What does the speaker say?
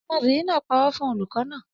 Ọmọbìnrin náà parọ́ fún olùkọ́ naa